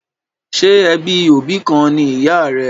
Ṣé ẹbí òbí kan ni ìyà rẹ?